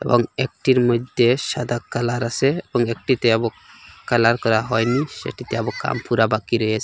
এবং একটির মইদ্যে সাদা কালার আসে এবং একটিতে এবক কালার করা হয়নি সেটিতে এবক কাম পুরা বাকি রয়েসে।